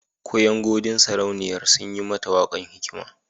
Kuyangodin sauraniya sun yi mata wakakon hikma.